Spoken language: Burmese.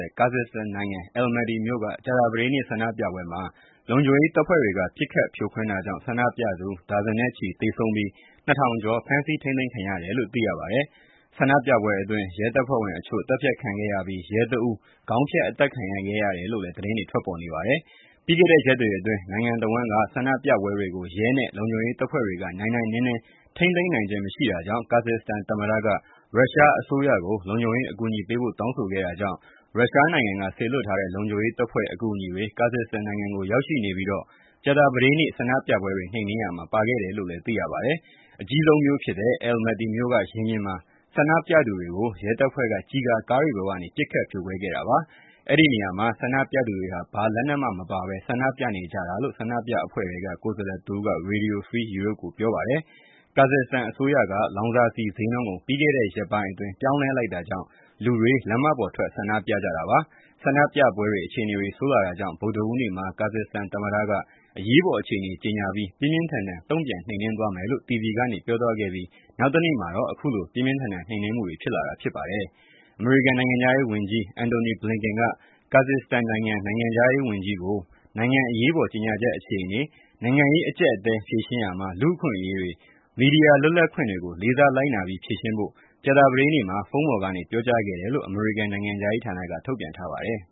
ေ့ ကာဇစ်စတန်နိုင်ငံ အဲလယ်မက်တီ Almaty မြို့က ဆန္ဒပြပွဲမှာ လုံခြုံရေးတပ်ဖွဲ့တွေက ပစ်ခတ်ဖြိုခွင်းတာကြောင့် ဆန္ဒပြသူ ဒါဇင်ကျော် သေဆုံးပြီး ၂၀၀၀ ကျော် ဖန်းဆီးထိမ်းသိမ်းခံရတယ်လို့ သိရပါတယ်။ ဆန္ဒပြပွဲအတွင်း ရဲတပ်ဖွဲ့ဝင် အချို့ သတ်ဖြတ်ခံခဲ့ရပြီး ရဲ တဦး ခေါင်းဖြတ်အသတ်ခံရတယ်လို့လည်း သတင်းတွေ ထွက်ပေါ်နေပါတယ်။ ပြီးခဲ့တဲ့ရက်တွေအတွင်း နိုင်ငံတဝှန်းက ဆန္ဒပြပွဲတွေကို ရဲနဲ့လုံခြုံရေးတပ်ဖွဲ့တွေက နိုင်နိုင်နင်းနင်း ထိန်းသိမ်းနိုင်းခြင်းမရှိတာကြောင့် ကာဇစ်စတန် သမ္မတက ရုရှားအစိုးရကို လုံခြံရေးအကူအညီပေးဖို့တောင်းဆိုခဲ့တာကြောင့် ရုရှားနိုင်ငံက စေလွှတ်ထားတဲ့ လုံခြုံရေးတပ်ဖွဲ့ အကူအညီတွေ ကာဇစ်စတန်နိုင်ငံကို ရောက်ရှိနေပြီး ကြာသပတေးနေ့ ဆန္ဒပြပွဲတွေနှိမ်နှင်းရာမှာ ပါခဲ့တယ်လို့ သိရပါတယ်။ အကြီးဆုံးမြို့ ဖြစ်တဲ့ အဲလပ်မက်တီမြို့ ရင်ပြင်က ဆန္ဒပြသူတွေကို ရဲတပ်ဖွဲ့က ကျည်ကာကားတွေပေါ်ကနေ ပစ်ခတ်ဖြိုခွဲခဲ့တာပါ။ အဲံဒီနေရာမှာ ဆန္ဒပြနေသူတွေဟာ ဘာလက်နက်မပါဘဲ ဆန္ဒပြနေကြတာလို့ ဆန္ဒပြအဖွဲ့ထဲက ကိုယ်စားလှယ်တဦးက Radio Free Europe ကို ပြောပါတယ်။ ကာဇစ်စတန်အစိုးရက မော်တော်ဆီ တမျိုးရဲ့ ဈေးနှုန်းကို ပြီးခဲ့တဲ့ ရကိပိုင်းအတွင်း ပြောင်းလဲလိုက်တာကြောင့် လူတွေ လမ်းမပေါ်ထွက် ဆန္ဒပြကြတာပါ။ ဆန္ဒပြပွဲအခြေအနေတွေ စိုးလာတာကြောင့် ဗုဒ္ဓဟူးနေ့မှာ ကာဇစ်စတန်သမ္မတက အရေးပေါ်အခြေအနေ ကြေငြာပြီး၊ ပြင်းပြင်းထန်ထန် တုံ့ပြန်နှိမ်နင်း သွားမယ်လို့ တီဗီကနေ ပြောသွားခဲ့ပြီး နောက်တနေ့ မှာတော့ အခုလို ပြင်းပြင်းထန်ထန် နှိမ်နင်းမှုတွေဖြစ်လာတာ ဖြစ်ပါတယ်။ အမေရိကန်နိင်ငံခြားရေးဝန်ကြီး Antony Blinken က ကာဇစ်စတန်နိုင်ငံခြားရေးဝန်ကြီးကို နိုင်ငံအရေးပေါ်ကြေငြာချက်အခြေအနေ၊ နိုင်ငံရေးအကြပ်အတည်း ဖြေရှင်းရာမှာ လူ့အခွင့်အရေးတွေ၊ မီဒီယာလွပ်လပ်ခွင့်တွေကို လေးစားလိုက်နာပြီး ဖြေရှင်းဖို့ ကြာသပတေးနေ့မှာ ဖုန်းပေါ်ကနေ ပြောကြားခဲ့တယ်လို့ အမေရိကန်နိုင်ငံခြားရေးဌာနက ထုတ်ပြန်ထားပါတယ်